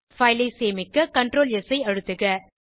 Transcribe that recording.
file ஐ சேமிக்க Ctrl S ஐ அழுத்துக